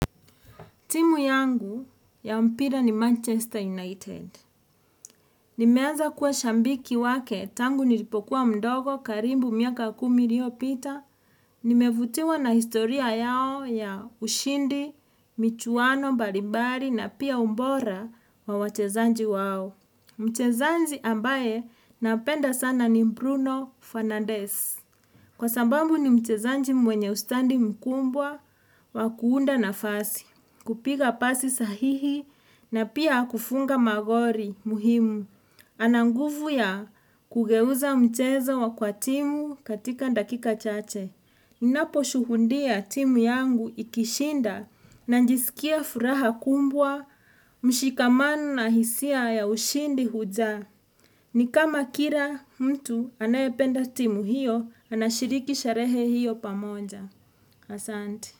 Timu yangu ya mpira ni Manchester United. Nimeanza kuwa shabiki wake tangu nilipokuwa mdogo karibu miaka kumi iliopita. Nimevutiwa na historia yao ya ushindi, michuano mbalimbali na pia ubora wa wachezaji wao. Mchezaji ambaye napenda sana ni Bruno Fernandez. Kwa sababu ni mchezaji mwenye ustadi mkubwa wa kuunda nafasi. Kupiga pasi sahihi na pia kufunga magoli muhimu. Ana nguvu ya kugeuza mchezo wa kwa timu katika dakika chache. Ninaposhuhundia timu yangu ikishinda najisikia furaha kubwa, mshikamano na hisia ya ushindi hujaa. Ni kama kila mtu anayependa timu hiyo anashiriki sherehe hiyo pamoja. Asante.